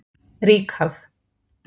Ríkharð